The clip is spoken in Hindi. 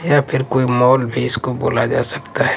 या फिर कोई मॉल भी इसको बोला जा सकता है।